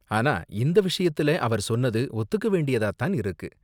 ஆனா, இந்த விஷயத்துல அவர் சொன்னது ஒத்துக்க வேண்டியதா தான் இருக்கு.